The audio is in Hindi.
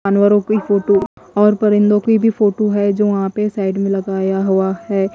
जानवरों की फोटू और परिंदों की भी फोटू है जो वहां पे साइड में लगाया हुआ है।